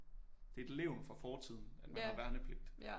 Det er et levn fra fortiden at man har værnepligt